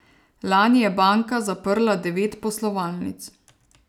Lani je banka zaprla devet poslovalnic.